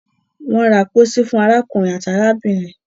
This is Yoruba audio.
won ra pósí fún arákùnrin àti arábìnrin